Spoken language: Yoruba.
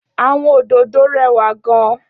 Áwòn ódódó rèwá gán